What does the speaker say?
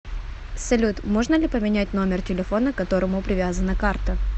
салют можно ли поменять номер телефона к которому привязана карта